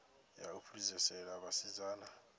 ya u fhedzisela ya vhasidzana